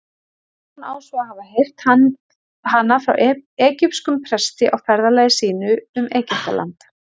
Sólon á svo að hafa heyrt hana frá egypskum presti á ferðalagi sínu um Egyptaland.